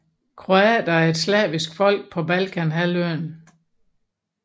Kroater er et slavisk folk på Balkanhalvøen